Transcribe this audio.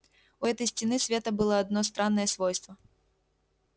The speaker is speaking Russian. у этой стены света было одно странное свойство